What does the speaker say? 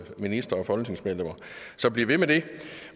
ministeren og folketingsmedlemmer så bliv ved med det